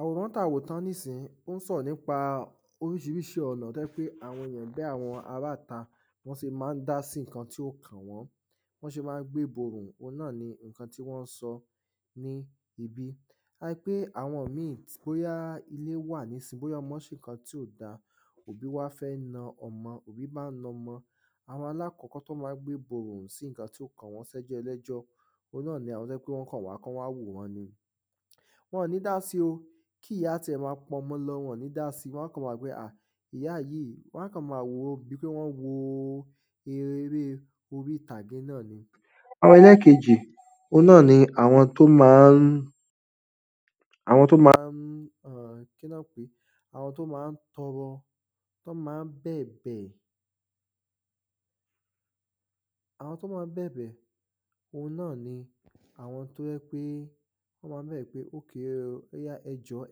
àwòrán ta wò tán ní sìn yí, ó ń sọ̀rọ̀ nípa orísirísi ọ̀nà tó jẹ́ pé àwọn èyàn bí àwọn ará ìta, bí wọ́n se má ń dá sí ǹkan tí ò kàn wọ́n, bí wọ́n se má ń gbéborùn, òun náà ni ǹkan ti wọ́n sọ ní ibí, a ri pé àwọn míì bóyá ilé wà ní sìn yí, bóyá ọmọ́ se ǹkan tí ò dáa, òbí wá fẹ́ na ọmọ, òbí ń bá na ọmọ, àwọn aláàkọ́kọ́ tí wọ́n ma gbéborùn sí ǹkan tí ò kàn wọ́n, sí ẹjọ́ ẹlẹ́jọ́ òun náà ni àwọn tí wọ́n kàn wá, kí wọ́n wá wòran ni, wọn ò ní dà si o, kí ìyá tí ẹ̀ ma pọmọ lọ, wọn ò ní dá si, wọ́n kàn ma wòó pé, ahh, ìyá yìí, wọ́n kàn ma wo bíi pé wọ́n wo eré orítàgé náà ni. ẹlẹ́ẹ̀kejì, òun náà ni, àwọn tó ma ń, àwọn tó ma ń,[um] kí ni wọ́n ń pèé, àwọn tó ma ń tọrọ, tó ma ń bẹ̀bẹ̀, àwọn tó ma n bẹ̀bẹ̀, òun náà ni àwọn tó jẹ́ pé, wọ́n ma ń bẹ̀bẹ̀ pé, okay o, òyà ẹjọ̀ọ́,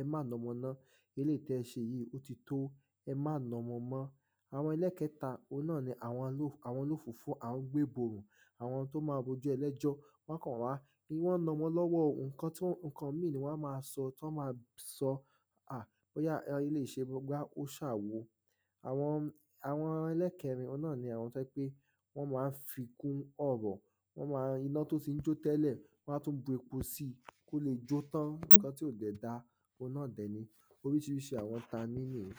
ẹ má na ọmọ mọ́, eléyìí tí e se jìí, ó ti tó, ẹ má namọ mọ́, àwọn ẹlẹ́ẹ̀kẹta, òun náà ni, àwọn oló, àwọn olóòfófó, àwọn gbéborùn, àwọn tó ma ro ẹjọ́ ẹlẹ́jọ́, wọ́n á kàn wá, bí wọ́n na ọmọ lọ́wọ́, ǹkan tí wọ́n, ǹkan míì ni wọ́n ma sọ, tí wọ́n ma sọ a bóyá eléyìí se gbá, bóyá ó se àwo, àwọn, àwọn ẹlẹ́ẹ̀kẹrin, òun náà ni, àwọn tó jẹ́ pé wọ́n ma ń fi kún ọ̀rọ̀, wọ́n ma ń, iná tó ti ń jó tẹ́lẹ̀, wọ́n á tún bu epo síi, kó le jó tán, ǹkan tí ò dẹ̀ dáa, òun náà dẹ̀ ni, orísirísi àwọn ta ní nìyí,